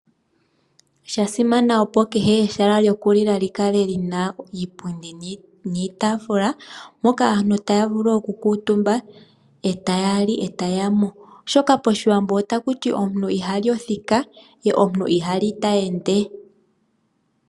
Sha simana opo kehe ehala lyoku lila li kale iipundi niitafuula moka aantu taya vulu oku kuutumba e taya li e taya mu, oshoka pashiwambo otakuti: omuntu ihali othika ye omuntu ihali ta ende.